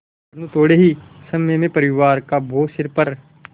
परन्तु थोडे़ ही समय में परिवार का बोझ सिर पर